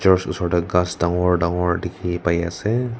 church osor tae ghas dangor dangor dikhipaiase.